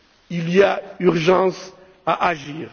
Il y a urgence à agir.